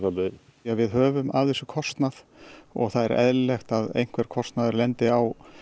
við höfum að þessu kostnað og það er eðlilegt að einhver kostnaður lendi á